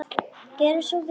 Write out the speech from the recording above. Gerið svo vel!